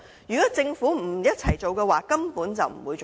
如果政府不一起進行，根本不可行。